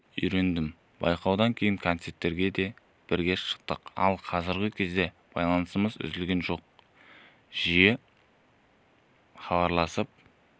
үйрендім байқаудан кейін концерттерге де бірге шықтық ал қазіргі кезде байланысымыз үзілген жоқ жиі хабарласып